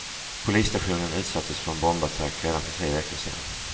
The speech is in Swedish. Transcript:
Polisstationen utsattes för en bombattack redan för tre veckor sedan.